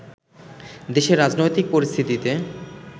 দেশের রাজনৈতিক পরিস্থিতিতে